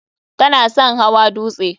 Ta na son hawa dutse.